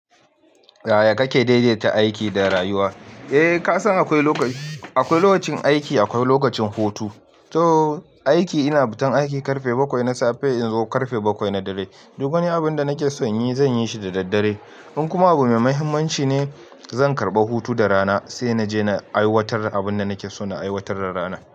Yaya kake daidaita aiki da rayuwa? Eh kasan akwai lokacin aiki akwai lokacin hutu. To aiki ina futan aiki karfe bakwai na safe in zo karfe bakwai na dare. Duk wani abun da nake son yi zan yi shi da daddare. In kuma abu mai mahimmanci ne, zan karɓa hutu da rana sai na je na aiwatar abun da nake so na aiwatar da rana.